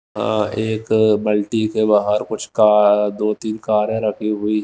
एक बाल्टी बाहर कुछ दो-तीन कार रखे हुए--